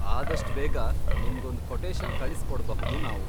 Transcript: ಆದಷ್ಟ್ ಬೇಗ ನಿಮ್ಗೊಂದ್ ಕೊಟೇಶನ್ ಕಳಿಸ್ಕೊಡ್ಬಹುದು ನಾವು.